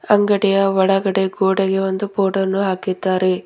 ಅಂಗಡಿಯ ಒಳಗಡೆ ಗೋಡೆಗೆ ಒಂದು ಬೋರ್ಡ ಅನ್ನು ಹಾಕಿದ್ದಾರೆ.